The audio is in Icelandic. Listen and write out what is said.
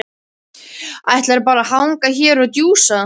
Ætlarðu bara að hanga hér og djúsa?